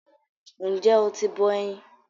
N jẹ́ oti bọ eyin?